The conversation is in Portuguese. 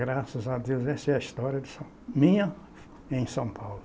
Graças a Deus, essa é a história de são, minha em São Paulo.